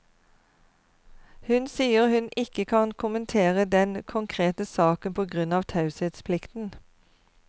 Hun sier hun ikke kan kommentere den konkrete saken på grunn av taushetsplikten.